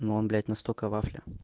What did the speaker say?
но он блять настолько вафля